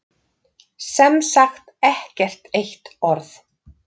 Sem sagt ekkert eitt orð.